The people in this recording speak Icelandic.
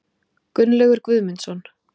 Gunnlaugur Guðmundsson.